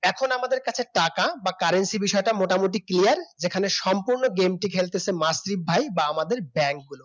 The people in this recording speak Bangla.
এখন আমাদের কাছে টাকা বা Currency বিষয়টা মোটামুটি Clear এখানে সম্পূর্ণ game টি খেলতাছে আমাদের মাসিফ ভাই বা আমাদের ব্যাংকগুলো